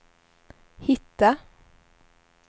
hitta